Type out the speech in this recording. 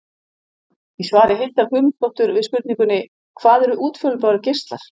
Í svari Hildar Guðmundsdóttur við spurningunni: Hvað eru útfjólubláir geislar?